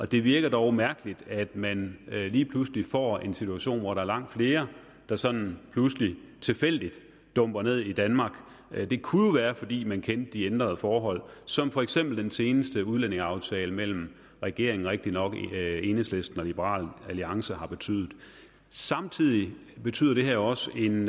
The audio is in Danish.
det virker dog mærkeligt at man lige pludselig får en situation hvor der er langt flere der sådan pludselig tilfældigt dumper ned i danmark det kunne jo være fordi man kendte de ændrede forhold som for eksempel den seneste udlændingeaftale mellem regeringen rigtig nok enhedslisten og liberal alliance har betydet samtidig betyder det her jo også en